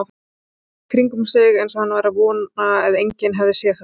Leit í kringum sig eins og hann væri að vona að enginn hefði séð það.